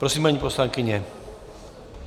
Prosím, paní poslankyně.